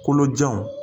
Kolojanw